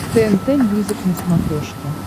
тнт мьюзик на смотрешке